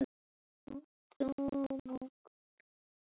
Írar eru með.